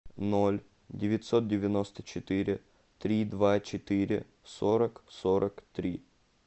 ноль девятьсот девяносто четыре три два четыре сорок сорок три